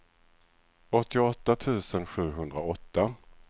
åttioåtta tusen sjuhundraåtta